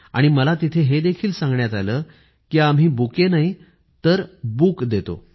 आणि मला तिथे हे देखील सांगण्यात आलं कि आम्ही बुके नाही तर बुक देतो